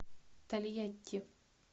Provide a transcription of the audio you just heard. тольятти